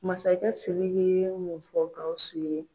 Masakɛ Sidiki ye mun fɔ Gawusu ye?